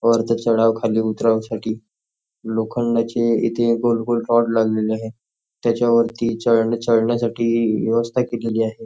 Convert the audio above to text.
वरती चढाव उतरावं करण्यासाठी लोखंडाचे इथे गोल गोल रॉड लागलेले आहेत त्याच्या वरती चढण्यासाठी व्यवस्था करण्यात आली आहे.